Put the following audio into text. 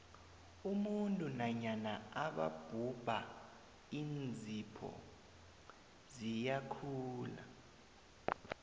umuntu nanyana angabhubha iinzipho ziyakhula